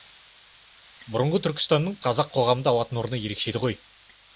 бұрынғы түркістанның қазақ қоғамында алатын орны ерекше еді ғой